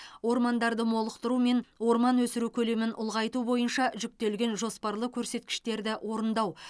ормандарды молықтыру мен орман өсіру көлемін ұлғайту бойынша жүктелген жоспарлы көрсеткіштерді орындау